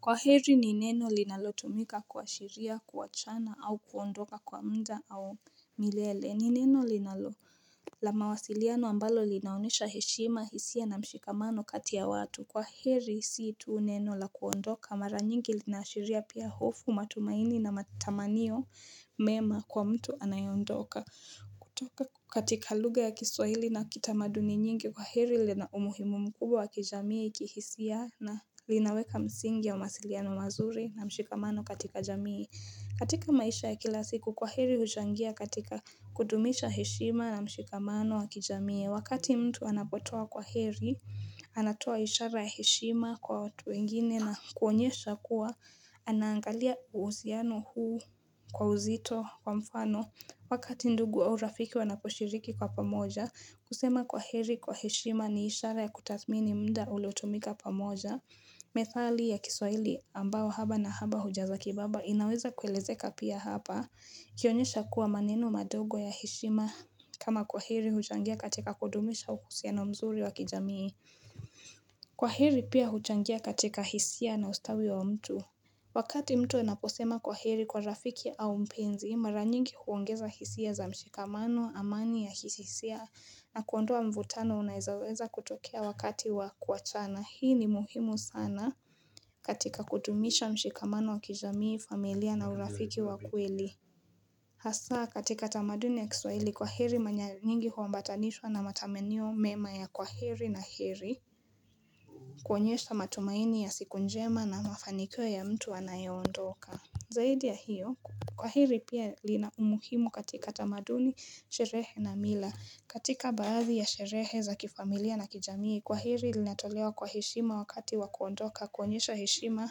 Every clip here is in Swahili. Kwaheri ni neno linalotumika kuashiria kuwachana au kuondoka kwa muda au milele ni neno linalo la mawasiliano ambalo linaonyesha heshima hisia na mshikamano kati ya watu kwaheri si tu neno la kuondoka mara nyingi linaashiria pia hofu matumaini na matamaniyo mema kwa mtu anayeondoka kutoka katika lugha ya kiswahili na kitamaduni nyingi kwaheri lina umuhimumu mkubwa wa kijamii kihisia na linaweka msingi ya mawasiliano mazuri na mshikamano katika jamii katika maisha ya kila siku kwaheri huchangia katika kudumisha heshima na mshikamano wa kijamii Wakati mtu anapotoa kwaheri, anatoa ishara ya heshima kwa watu wengine na kuonyesha kuwa Anaangalia uhusiano huu kwa uzito kwa mfano Wakati ndugu au rafiki wanaposhiriki kwa pamoja, kusema kwaheri kwa heshima ni ishara ya kutathmini muda uliotumika pamoja. Methali ya kiswaili ambao haba na haba hujaza kibaba inaweza kuelezeka pia hapa. Kuonyesha kuwa maneno madogo ya heshima kama kwaheri huchangia katika kudumisha uhusiano mzuri wa kijamii. Kwaheri pia huchangia katika hisia na ustawi wa mtu. Wakati mtu anaposema kwaheri kwa rafiki au mpenzi mara nyingi huongeza hisia za mshikamano amani ya kihisia na kuondoa mvutano unaoweza kutokea wakati wa kuachana hii ni muhimu sana katika kutumisha mshikamano wa kijamii familia na urafiki wa kweli Hasa katika tamaduni ya kiswaili kwaheri manya nyingi huambatanishwa na matamanio mema ya kwaheri na heri kuonyesha matumaini ya siku njema na mafanikio ya mtu anayeondoka Zaidi ya hiyo, kwaheri pia lina umuhimu katika tamaduni, sherehe na mila, katika baadhi ya sherehe za kifamilia na kijamii, kwaheri linatolewa kwa heshima wakati wa kuondoka, kuonyesha heshima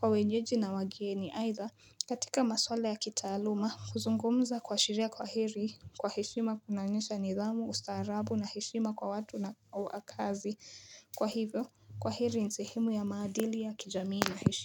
kwa wenyeji na wageni, aidha katika masuala ya kitaaluma, kuzungumza kuashiria kwaheri, kwa heshima kunaonyesha nidhamu, ustaarabu na heshima kwa watu na kazi, kwa hivyo, kwaheri ni sehemu ya maadili ya kijamii na heshima.